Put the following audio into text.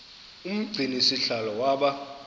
umgcini sihlalo waba